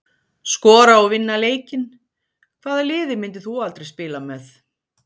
Skora og vinna leikinn Hvaða liði myndir þú aldrei spila með?